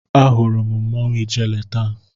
Ahụrụ m mmanwụ ijele taa.